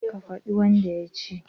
Ka fadi wanda yaci